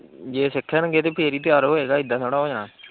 ਜੇ ਸਿੱਖਣਗੇ ਤੇ ਫਿਰ ਹੀ ਤਿਆਰ ਹੋਏਗਾ, ਏਦਾ ਥੋੜੀ ਹੋ ਜਾਣਾ।